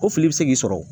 Ko fili bɛ se k'i sɔrɔ